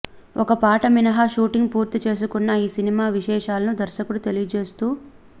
ఒక పాట మినహా షూటింగ్ పూర్తి చేసుకున్న ఈ సినిమా విశేషాలను దర్శకుడు తెలియచేస్తూ